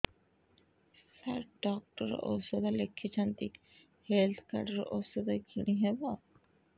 ସାର doctor ଔଷଧ ଲେଖିଛନ୍ତି health card ରୁ ଔଷଧ କିଣି ହେବ